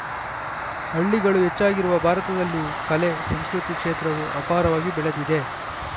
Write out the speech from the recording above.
ಹಳ್ಳಿಗಳು ಹೆಚ್ಚಾಗಿರುವ ಭಾರತದಲ್ಲಿ ಕಲೆ ಸಂಸ್ಕೃತಿ ಕ್ಷೇತ್ರವು ಅಪಾರವಾಗಿ ಬೆಳೆದಿದೆ